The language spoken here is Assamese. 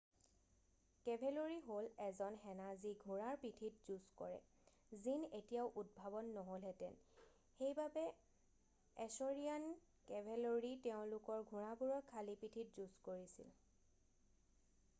কেভেলৰি হল এজন সেনা যি ঘোঁৰাৰ পিঠিত যুজঁ কৰে জিন এতিয়াও উদ্ভাৱন নহলহেতেন সেইবাবে এছৰিয়ান কেভেলৰি তেওঁলোকৰ ঘোঁৰাবোৰৰ খালি পিঠিত যুজঁ কৰিছিল